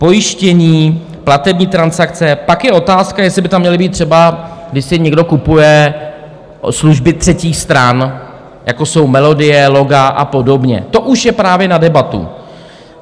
Pojištění, platební transakce - pak je otázka, jestli by tam mělo být třeba, když si někdo kupuje služby třetích stran, jako jsou melodie, loga a podobně, to už je právě na debatu.